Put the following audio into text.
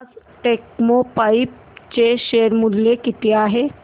आज टेक्स्मोपाइप्स चे शेअर मूल्य किती आहे